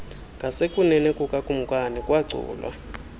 ngasekunene kukakumkani kwaculwa